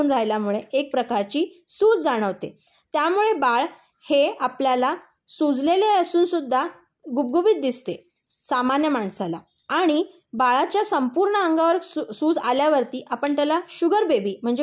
राहिल्यामुळे एक प्रकारची सूज जाणवते. त्यामुळे बाळ हे आपल्याला सुजलेले असून सुद्धा गुबगुबीत दिसते सामान्य माणसाला. आणि बाळाच्या संपूर्ण अंगावर सूज आल्यावरती आपण त्याला शुगर बेबी म्हणजे